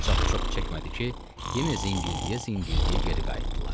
Ancaq çox çəkmədi ki, yenə zingildəyə-zingildəyə geri qayıtdılar.